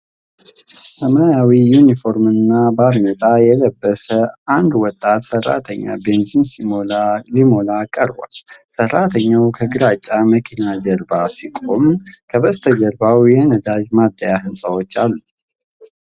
ሰማያዊ ዩኒፎርምና ባርኔጣ የለበሰ አንድ ወጣት ሰራተኛ ቤንዚን ሲሞላ ቀርቧል። ሰራተኛው ከግራጫ መኪና ጀርባ ሲቆም፣ ከበስተጀርባው የነዳጅ ማደያ ህንፃዎች አሉ።